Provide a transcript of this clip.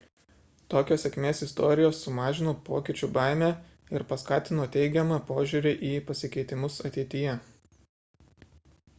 tokios sėkmės istorijos sumažino pokyčių baimę ir paskatino teigiamą požiūrį į pasikeitimus ateityje